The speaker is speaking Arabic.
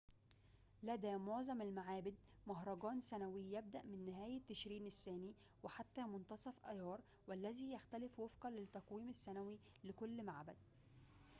لدى مُعظم المعابد مهرجانٌ سنويٌ يبدأ من نهاية تشرين الثاني وحتى منتصف أيار والذي يختلف وفقاً للتقويم السنوي لكل معبد